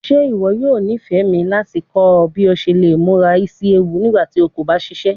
Ṣe iwọ yoo nifẹ mi lati kọ ọ bi o ṣe le mura isi ewu nigbati o ko ba ṣiṣẹ?